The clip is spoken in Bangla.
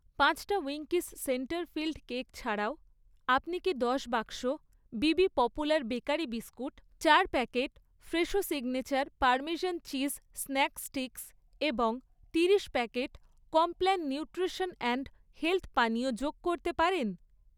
পাঁচটা উইঙ্কিস সেন্টার ফিল্ড কেক ছাড়াও, আপনি কি দশ বাক্স বিবি পপুলার বেকারি বিস্কুট, চার packet Fresho signature parmesan cheese snack sticks এবং তিরিশ packet Complan nutrition and health পানীয় যোগ করতে পারেন?